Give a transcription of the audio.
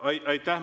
Aitäh!